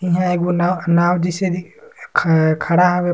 इहाँ एगो नाव नांव जइसे ख अ खड़ा हवे।